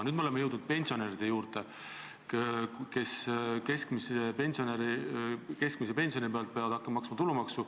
Nüüd me oleme jõudnud pensionäride juurde, kes keskmise pensioni pealt peavad hakkama maksma tulumaksu.